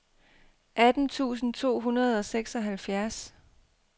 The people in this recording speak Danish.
atten tusind to hundrede og seksoghalvfjerds